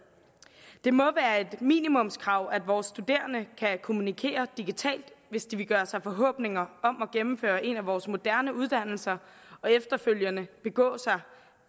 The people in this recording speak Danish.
det må være et minimumskrav at vores studerende kan kommunikere digitalt hvis de vil gøre sig forhåbninger om at gennemføre en af vores moderne uddannelser og efterfølgende begå sig